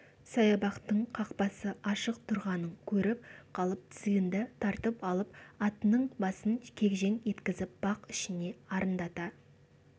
саябақтың қақпасы ашық тұрғанын көріп қалып тізгінді тартып алып атының басын кегжең еткізіп бақ ішіне арындата